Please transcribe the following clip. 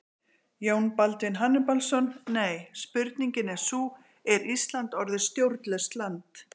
Jón Baldvin Hannibalsson: Nei, spurningin er sú, er Ísland orðið stjórnlaust land?